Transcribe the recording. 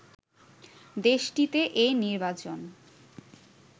দেশটিতে এ নির্বাচন